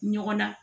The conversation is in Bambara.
Ɲɔgɔn na